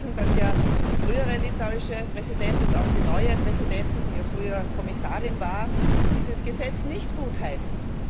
Wir wissen, dass der frühere litauische Präsident und auch die neue Präsidentin, die früher Kommissarin war, dieses Gesetz nicht gutheißen.